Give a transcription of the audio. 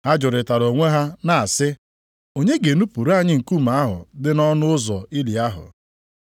Ha jụrịtara onwe ha na-asị, “Onye ga-enupuru anyị nkume ahụ dị nʼọnụ ụzọ ili ahụ?”